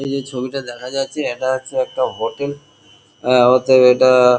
এই যে ছবিটা দেখা যাচ্ছে এটা হচ্ছে একটা হোটেল আ অতএব এটা-আ-আ--